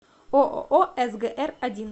ооо сгр один